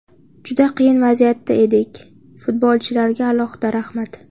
Juda qiyin vaziyatda edik, futbolchilarga alohida rahmat.